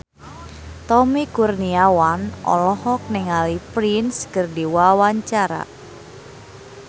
Tommy Kurniawan olohok ningali Prince keur diwawancara